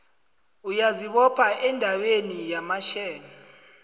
uyazibopha endabeni yamashare